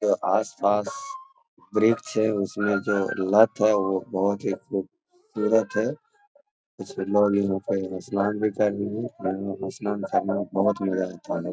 जो आस-पास वृक्ष है उसमें जो लत है वो बहुत ही खूबसूरत है कुछ लोग यहाँ पे स्नान भी कर रहे हैं यहाँ स्नान करना बहुत मजा आता है।